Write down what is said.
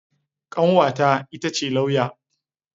Kanwata ita ce lauya.